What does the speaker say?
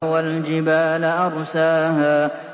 وَالْجِبَالَ أَرْسَاهَا